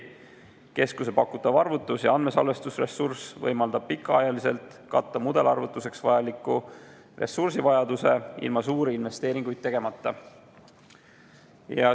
Keskuse pakutav arvutus- ja andmesalvestusressurss võimaldab pikaajaliselt katta mudelarvutuseks vajaliku ressursivajaduse suuri investeeringuid tegemata.